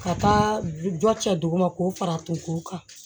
Ka taa jɔ cɛ duguma k'o fara a tun k'o kan